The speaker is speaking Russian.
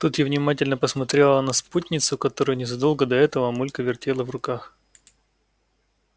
тут я внимательно посмотрела на спутницу которую незадолго до этого мамулька вертела в руках